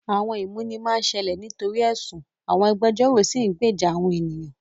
Àwọn ìmúni máa ń ṣẹlẹ̀ nítorí ẹ̀sùn, àwọn agbẹjọ́rò sì ń gbèjà àwọn ènìyàn.